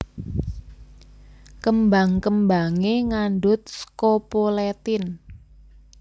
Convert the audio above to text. Kembang kembangé ngandhut scopoletin